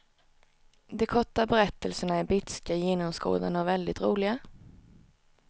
De korta berättelserna är bitska, genomskådande och väldigt roliga.